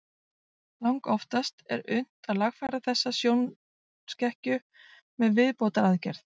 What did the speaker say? Langoftast er unnt að lagfæra þessa sjónskekkju með viðbótaraðgerð.